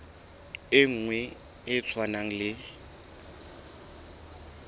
e nngwe e tshwanang le